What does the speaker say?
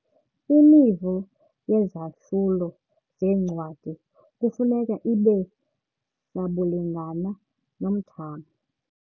Imivo yezahlulo zencwadi kufuneka ibe sabulingana ngomthamo.